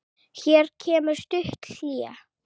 Hér kemur stutt hlé.